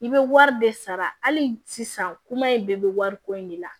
I bɛ wari de sara hali sisan kuma in bɛɛ bɛ wariko in de la